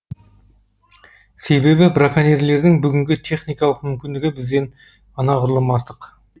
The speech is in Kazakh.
себебі браконьерлердің бүгінгі техникалық мүмкіндігі бізден анағұрлым артық